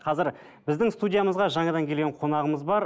қазір біздің студиямызға жаңадан келген қонағымыз бар